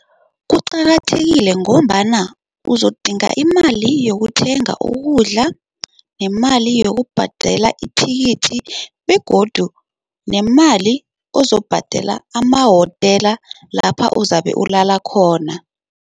Kuqakathekile ngombana uzodinga imali yokuthenga ukudla nemali yokubhadela ithikithi begodu nemali ozobhadela emahotela lapha ozabe ulala khona.